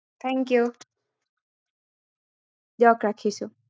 Thank you দিওক ৰাখিছো